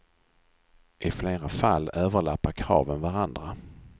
I flera fall överlappar kraven varandra.